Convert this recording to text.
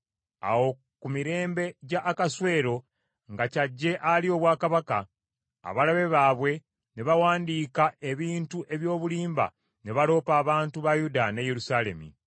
Awo ku mirembe gya Akaswero nga ky’ajje alye obwakabaka, abalabe baabwe ne baawandiika ebintu eby’obulimba ne baloopa abantu ba Yuda ne Yerusaalemi.